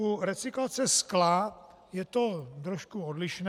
U recyklace skla je to trošku odlišné.